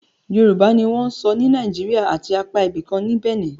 Yorùbá ni wọ́n ń sọ ní Naijiria àti apá ibìkan ní Bẹ̀nẹ̀